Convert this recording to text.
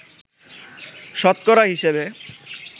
শতকরা হিসেবে